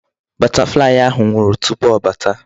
Butterfly ahụ nwụrụ tupu ọ bata.